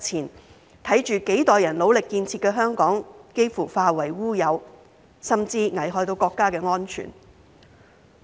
我們看到幾代人努力建設的香港幾乎化為烏有，甚至危害國家安全。